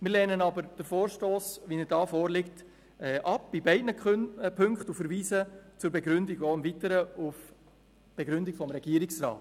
Wir lehnen aber den vorliegenden Vorstoss in beiden Ziffern ab und verweisen zur Begründung im Weiteren auf die Begründung des Regierungsrats.